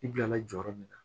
I bila la jɔyɔrɔ min na